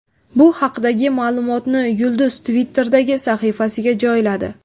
Bu haqdagi ma’lumotni yulduz Twitter’dagi sahifasiga joyladi.